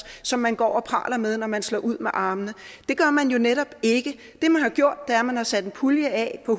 som man går og praler med når man slår ud med armene det gør man jo netop ikke det man har gjort er at man har sat en pulje af på